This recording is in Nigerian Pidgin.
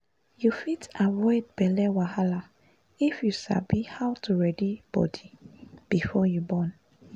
you fit avoid belle wahala if you sabi how to ready body before you born